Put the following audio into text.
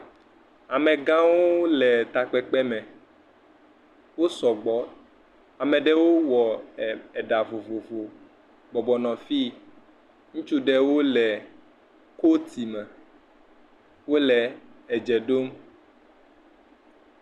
Amegãwo le takpekpe me, wosɔ gbɔ. Ame ɖewɔ le eɖa vovovo bɔbɔ nɔ fiyi. Ŋutsu aɖewo le coati me. Wole adze ɖom.